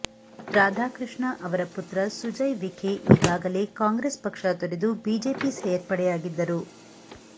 ರಾಧಾಕೃಷ್ಣ ಅವರ ಪುತ್ರ ಸುಜಯ್ ವಿಖೆ ಈಗಾಗಲೇ ಕಾಂಗ್ರೆಸ್ ಪಕ್ಷ ತೊರೆದು ಬಿಜೆಪಿ ಸೇರ್ಪಡೆಯಾಗಿದ್ದರು